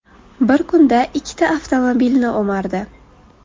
bir kunda ikkita avtomobilni o‘mardi.